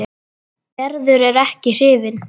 Gerður er ekki hrifin.